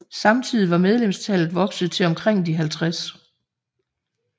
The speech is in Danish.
Samtidig var medlemstallet vokset til omkring de 50